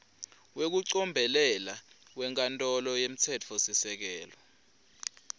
wekucombelela wenkantolo yemtsetfosisekelo